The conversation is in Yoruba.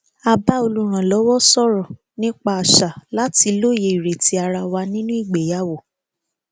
a bá olùrànlọwọ sọrọ nípa àṣà láti lóye ireti ara wa nínú ìgbéyàwó